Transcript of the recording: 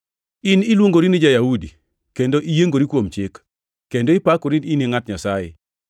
In iluongori ni ja-Yahudi; kendo iyiengori kuom Chik, kendo ipakori in ngʼat Nyasaye.